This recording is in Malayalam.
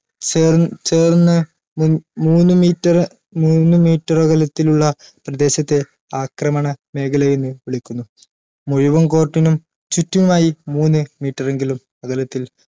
ചേർ ചേർന്ന് മുൻ മൂന്ന് meter മൂന്ന് meter അകലത്തിലുള്ള പ്രദേശത്തെ ആക്രമണ മേഖലയെന്ന് വിളിക്കുന്നു മുഴുവൻ court നും ചുറ്റുമായി മൂന്ന് meter എങ്കിലും അകലത്തിൽ